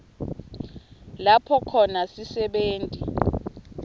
lapho khona sisebenti